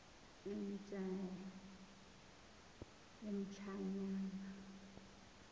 emtshanyana